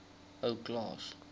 ou klaas